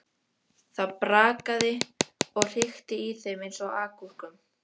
Það brakaði og hrikti í þeim eins og agúrkum.